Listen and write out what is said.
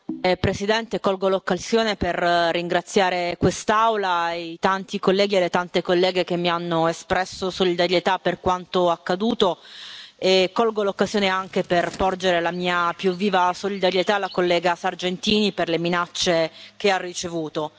Signor Presidente, onorevoli colleghi, colgo l'occasione per ringraziare quest'Aula e i tanti colleghi e le tante colleghe che mi hanno espresso solidarietà per quanto accaduto e colgo l'occasione anche per porgere la mia più viva solidarietà alla collega Sargentini, per le minacce che ha ricevuto.